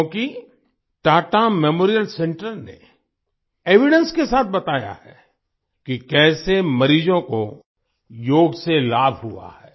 क्योंकि Tata memorial centre ने evidence के साथ बताया है कि कैसे मरीजों को योग से लाभ हुआ है